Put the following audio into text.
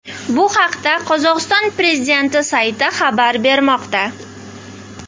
Bu haqda Qozog‘iston prezidenti sayti xabar bermoqda .